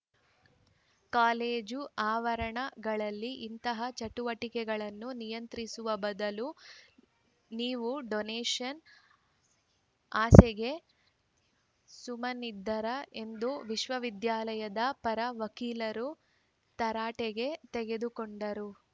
college ಆವರಣಗಳಲ್ಲಿ ಇಂತಹ ಚಟುವಟಿಕೆಗಳನ್ನು ನಿಯಂತ್ರಿಸುವ ಬದಲು ನೀವು ಡೊನೇಷನ್‌ ಆಸೆಗೆ ಸುಮ್ಮನಿದ್ದೀರಾ ಎಂದು ವಿಶ್ವವಿದ್ಯಾಲಯದ ಪರ ವಕೀಲರನ್ನು ತರಾಟೆಗೆ ತೆಗೆದುಕೊಂಡರು